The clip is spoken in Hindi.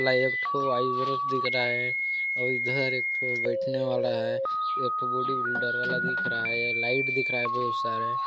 --ला एक ठो आईब्रश दिख रहा हैं और इधर एक ठो बैठने वाला हैं एक ठो बॉडी बिल्डर वाला दिख रहा हैं ये लाइट दिख रहा हैं बहुत सारे --